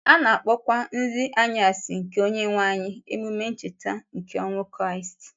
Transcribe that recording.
A na-akpọkwa Nrị Anyasị nke Onyenwe anyị Emume Ncheta nke ọnwụ Kraịst.